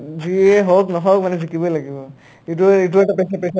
যিয়ে হওক নহওক মানে জিকিবই লাগিব ইটো ইটো এটা pressure pressure ত থাকে